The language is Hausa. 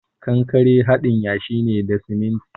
Kankare haɗin yashi ne da siminti.